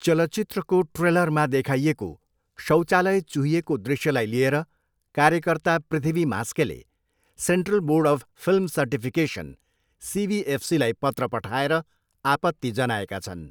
चलचित्रको ट्रेलरमा देखाइएको शौचालय चुहिएको दृश्यलाई लिएर कार्यकर्ता पृथ्वी म्हास्केले central board of film certification, सिबिएफसीलाई पत्र पठाएर आपत्ति जनाएका छन्।